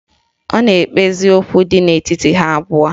Ọ na-ekpezi okwu dị n'etiti ha abụọ